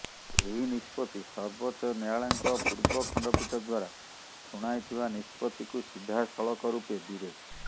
ଏହି ନିଷ୍ପତ୍ତି ସର୍ବଚ୍ଚ ନ୍ୟାୟାଳଙ୍କ ପୂର୍ବ ଖଣ୍ଡପୀଠ ଦ୍ୱାରା ଶଣାଇଥିବା ନିଷ୍ପତ୍ତିକୁ ସିଧାସଳଖ ରୂପେ ବିରେ